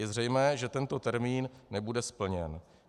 Je zřejmé, že tento termín nebude splněn.